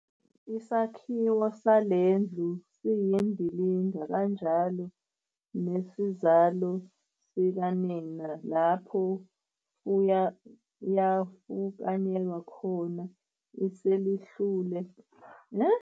Isakhiwo sale ndlu siyindilinga kanjalo nesizalo sikanina lapho yafukanyelwa khona iselihlule.